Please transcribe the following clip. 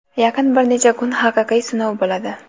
yaqin bir necha kun haqiqiy sinov bo‘ladi.